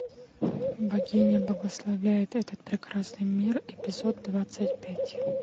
богиня благословляет этот прекрасный мир эпизод двадцать пять